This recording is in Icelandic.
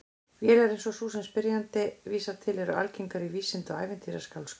Vélar eins og sú sem spyrjandi vísar til eru algengar í vísinda- og ævintýraskáldskap.